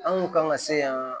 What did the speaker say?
An kun kan ka se yan